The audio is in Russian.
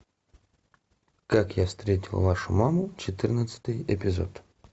как я встретил вашу маму четырнадцатый эпизод